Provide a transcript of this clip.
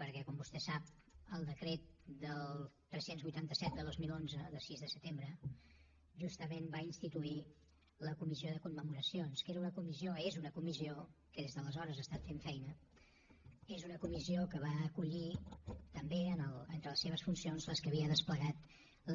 perquè com vostè sap el decret tres cents i vuitanta set de dos mil onze de sis de setembre justament va instituir la comissió de commemoracions que era una comissió és una comissió que des d’aleshores ha estat fent feina és una comissió que va acollir també entre les seves funcions les que havia desplegat